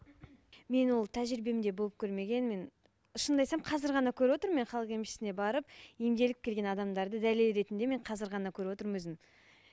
мен ол тәжірибемде болып көрмеген мен шынымды айтсам қазір ғана көріп отырмын мен халық емшісіне барып емделіп келген адамдарды дәлел ретінде мен қазір ғана көріп отырмын өзім